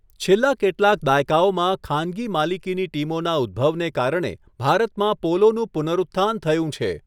છેલ્લા કેટલાક દાયકાઓમાં, ખાનગી માલિકીની ટીમોના ઉદભવને કારણે ભારતમાં પોલોનું પુનરુત્થાન થયું છે.